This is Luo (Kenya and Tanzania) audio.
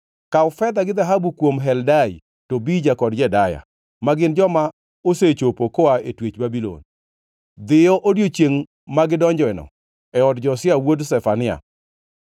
“Kaw fedha gi dhahabu kuom Heldai, Tobija kod Jedaya, ma gin joma osechopo koa e twech Babulon. Dhiyo odiechiengʼ ma gidonjoeno, e od Josia wuod Zefania.